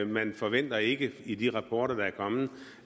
man forventer ikke i de rapporter der er kommet